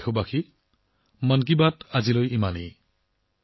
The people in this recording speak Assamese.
মোৰ প্ৰিয় দেশবাসী আজিৰ মন কী বাত ইমানেই